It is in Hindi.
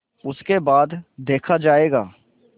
उसके बाद देखा जायगा